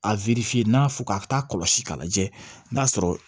A n'a fɔ k'a bɛ taa kɔlɔsi k'a lajɛ n'a sɔrɔ